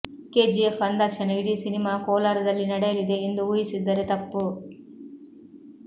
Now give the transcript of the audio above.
KGF ಅಂದಾಕ್ಷಣ ಇಡೀ cinema ಕೋಲಾರದಲ್ಲಿ ನಡೆಯಲಿದೆ ಎಂದು ಊಹಿಸಿದ್ದರೆ ತಪ್ಪು